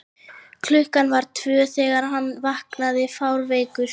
klukkan var tvö þegar hann vaknaði fárveikur.